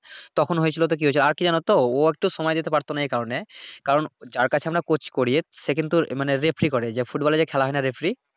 তখন হয়েছিলো তো কি হয়েছে আর কি জানোতো ও একটু সময় দিতে পারতো নাহ এই কারনে, কারন যার কাছে আমরা কোর্স করি সে কিন্ত মানে রেফারী করে ফুটবলে যে খেলা হয়না রেফারী